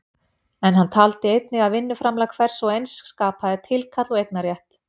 En hann taldi einnig að vinnuframlag hvers og eins skapaði tilkall og eignarrétt.